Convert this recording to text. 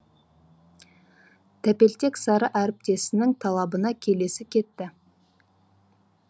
тәпелтек сары әріптесінің талабына келісе кетті